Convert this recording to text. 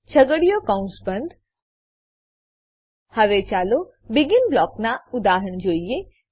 છગડીયો કૌંસ બંધ હવે ચાલો બેગિન બ્લોકોનાં ઉદાહરણ જોઈએ